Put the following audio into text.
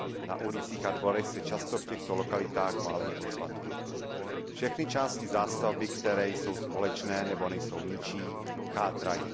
Na ulicích a dvorech se často v těchto lokalitách válejí odpadky. Všechny části zástavby, které jsou společné nebo nejsou ničí, chátrají.